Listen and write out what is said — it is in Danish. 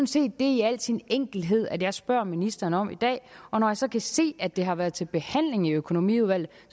set i al sin enkelhed det jeg spørger ministeren om i dag og når jeg så kan se at det har været til behandling i økonomiudvalget